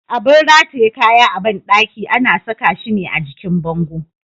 Abun rataye kaya a bandaki ana saka shi ne a jikin bango.